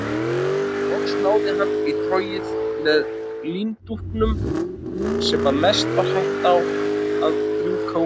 Loks náði hann í trogið með líndúkunum sem að mestu var hætt að rjúka úr.